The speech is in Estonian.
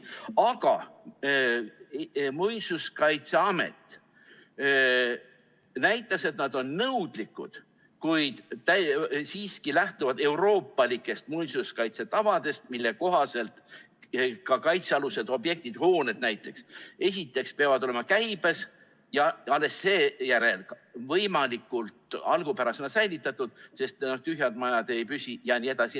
Aga Muinsuskaitseamet näitas, et nad on nõudlikud, kuid siiski lähtuvad euroopalikest muinsuskaitsetavadest, mille kohaselt kaitsealused objektid, hooned näiteks, peavad esiteks olema käibes ja alles seejärel võimalikult algupärasena säilitatud, sest tühjad majad ei püsi jne.